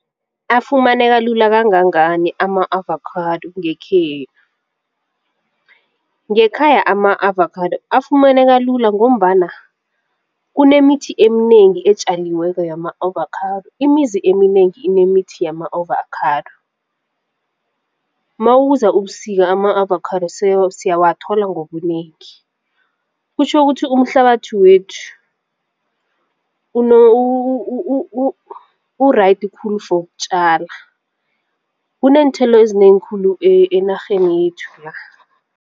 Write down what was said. Afumaneka lula kangangani ama-avakhado ngekhenu? Ngekhaya ama-avakhado afumaneka lula ngombana kunemithi eminengi etjaliweko yama-ovakhado imizi eminengi inemithi yama-ovakhado. Mawuza ubusika ama-avakhado sesiyawathola ngobunengi. Kutjho ukuthi umhlabathu wethu u-right khulu for ukutjala kuneenthelo ezinengi khulu enarheni yethu la.